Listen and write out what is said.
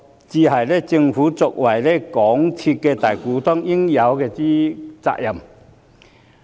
這才是政府作為港鐵公司大股東應有的責任。